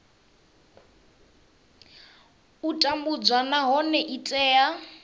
u tambudzwa nahone i tea